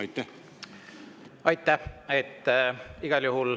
Aitäh!